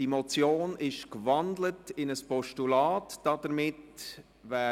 Die Motion ist in ein Postulat gewandelt worden.